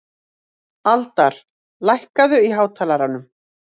Aldar, lækkaðu í hátalaranum.